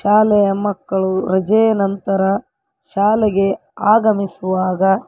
ಶಾಲೆಯ ಮಕ್ಕಳು ರಜೆಯ ನಂತರ ಶಾಲೆಗೆ ಆಗಮಿಸುವಾಗ.